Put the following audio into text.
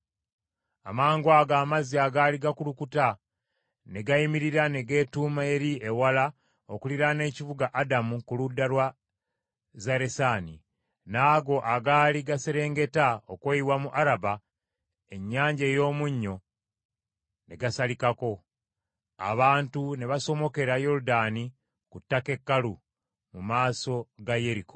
Amangwago amazzi agaali gakulukuta ne gayimirira ne geetuuma eri ewala okuliraana ekibuga Adamu ku ludda lwa Zaresaani. N’ago agaali gaserengeta okweyiwa mu Araba Ennyanja ey’Omunnyo ne gasalikako, abantu ne basomokera Yoludaani ku ttaka ekkalu, mu maaso ga Yeriko.